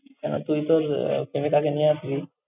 কেন! তুই তোর আহ প্রেমিকাকে নিয়ে আসবি।